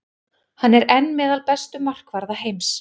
Hann er enn meðal bestu markvarða heims.